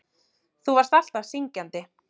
Þú varst alltaf syngjandi.